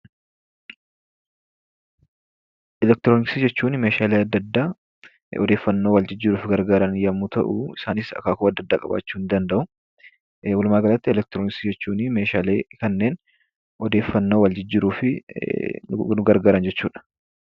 Elektirooniksii jechuun meeshaalee adda addaa odeeffaannoo wal jijjiiruuf gargaaran yommuu ta'u, isaanis akaakuu adda addaa qabaachuu ni danda'u. Walumaagalatti, elektirooniksii jechuun meeshaalee kanneen odeeffaannoo wal jijjiiruuf nu gargaaran jechuu dha.